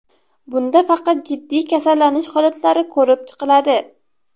Bunda faqat jiddiy kasallanish holatlari ko‘rib chiqiladi.